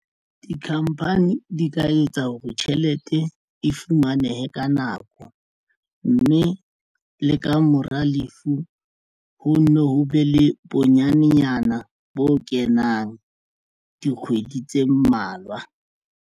Di-company di ka etsa hore tjhelete e fumanehe ka nako mme le ka mora lefu ho nne ho be le bonyanenyana bo kenang dikgwedi tse mmalwa.